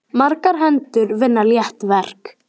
Margar hendur vinna létt verk.